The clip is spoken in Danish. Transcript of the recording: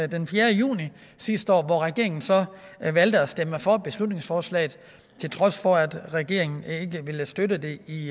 den fjerde juni sidste år hvor regeringen så valgte at stemme for beslutningsforslaget til trods for at regeringen ikke ville støtte det i